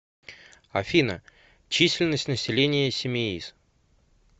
афина численность населения симеиз